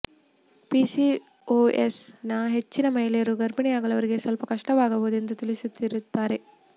ಪಿಸಿಓಎಸ್ನ ಹೆಚ್ಚಿನ ಮಹಿಳೆಯರು ಗರ್ಭಿಣಿಯಾಗಲು ಅವರಿಗೆ ಸ್ವಲ್ಪ ಕಷ್ಟವಾಗಬಹುದು ಎಂದು ತಿಳಿದಿರುತ್ತಾರೆ